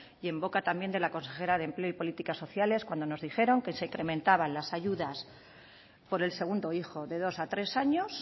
y en boca también de la consejera de empleo y políticas sociales cuando nos dijeron que se incrementaban las ayudas por el segundo hijo de dos a tres años